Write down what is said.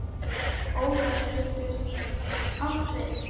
Óðal getur átt við